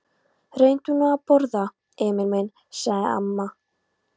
Reyndu nú að borða, Emil minn, sagði mamma.